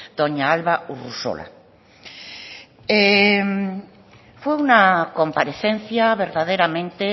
doña alba urresola fue una comparecencia verdaderamente